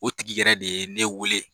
O tigi yɛrɛ de ye ne wele.